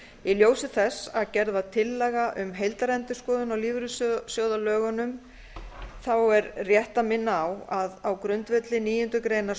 í ljósi þess að gerð var tillaga um heildarendurskoðun á lífeyrissjóðalögunum er rétt að minna á að á grundvelli níundu grein